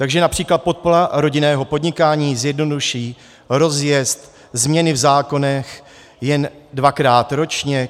Takže například podpora rodinného podnikání zjednoduší rozjezd, změny v zákonech jen dvakrát ročně.